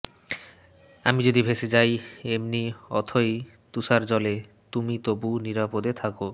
আমি যদি ভেসে যাই এমনি অথই তুষারজলে তুমি তবু নিরাপদে থাবো